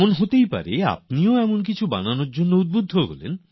হতে পারে আপনিও এমন কিছু বানাতে উৎসাহিত হয়ে যাবেন